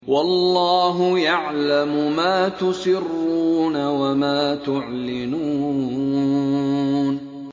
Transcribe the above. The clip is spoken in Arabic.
وَاللَّهُ يَعْلَمُ مَا تُسِرُّونَ وَمَا تُعْلِنُونَ